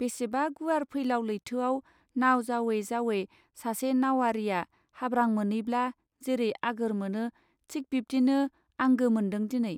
बेसेबा गुवार फैलाव लैथोआव नाउ जाउयै जाउयै सासे नाउवारिया हाब्रां मोनैब्ला जेरै आगोर मोनो थिक बिब्दिनो आंगो मोन्दों दिनै.